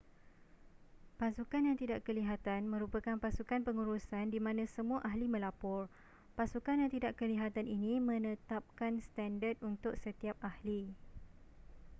pasukan yang tidak kelihatan merupakan pasukan pengurusan di mana semua ahli melapor pasukan yang tidak kelihatan ini menetapkan standard untuk setiap ahli